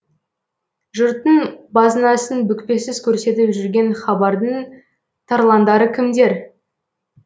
жұрттың базынасын бүкпесіз көрсетіп жүрген хабардың тарландары кімдер